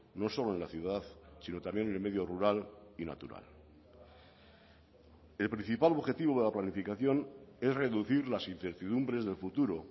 no solo en la ciudad sino también en el medio rural y natural el principal objetivo de la planificación es reducir las incertidumbres del futuro